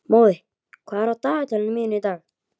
Móði, hvað er á dagatalinu mínu í dag?